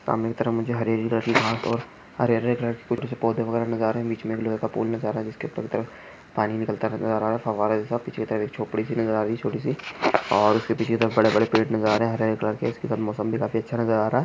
सामने की तरफ हरे हरे हरे हरे हरे कुछ छोटे-छोटे से पौधे नजर आ रहे है बीच में गिलोय का पेड़ नजर आ रहा है जिसके तल पर पानी निकलता नजर आ रहा है पीछे की तरफ झोपड़ी सी नजर आ रही है छोटी सी और उसके पिछे कि तरफ बड़े बड़े पेड़ नजर आ रहे है हर हर से इसके साथ मौसम भी काफी अच्छा नजर आ रहा है।